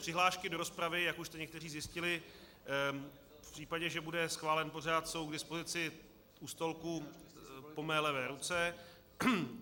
Přihlášky do rozpravy, jak už jste někteří zjistili, v případě, že bude schválen pořad, jsou k dispozici u stolku po mé levé ruce.